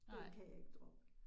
Det kan jeg ikke droppe